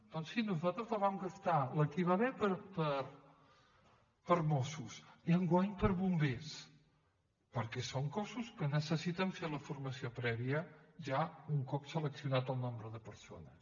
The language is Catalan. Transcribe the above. doncs sí nosaltres la vam gastar la que hi va haver per a mossos i enguany per a bombers perquè són cossos que necessiten fer la formació prèvia ja un cop seleccionat el nombre de persones